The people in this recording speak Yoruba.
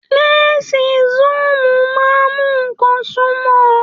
Lẹnsi soomu máa mú nkán sunmọ.